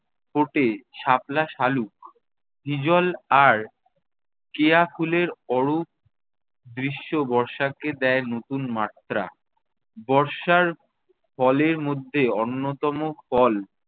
ফোটে শাপলা শালুক। হিজল আর কেয়া ফুলের অরূপ দৃশ্য বর্ষাকে দেয় নতুন মাত্রা। বর্ষার ফলের মধ্যে অন্যতম ফল